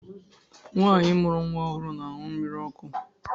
Nwaanyi mụrụ nwa ọhụrụ na-aṅụ mmiri ọkụ.